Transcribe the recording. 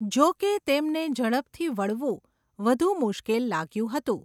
જો કે, તેમને ઝડપથી વળવું વધુ મુશ્કેલ લાગ્યું હતું.